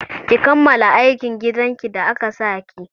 Ki kammala aikin gidan ki da aka sa ki!